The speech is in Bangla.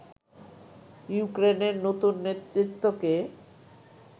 ইউক্রেনের নতুন নেতৃত্বকে